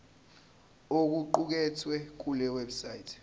okuqukethwe kule website